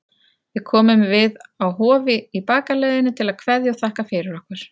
Við komum við á Hofi í bakaleiðinni til að kveðja og þakka fyrir okkur.